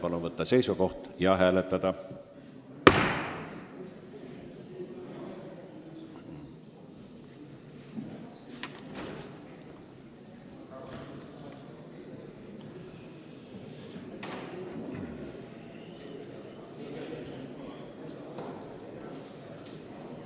Palun võtta seisukoht ja hääletada!